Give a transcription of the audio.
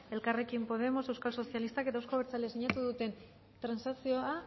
elkarrekin podemos euskal sozialistak eta euzko abertzalea sinatu duten transakzioa